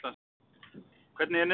Hvernig er niðurstaðan?